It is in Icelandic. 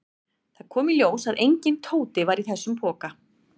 Það kom í ljós að enginn Tóti var í þessum poka.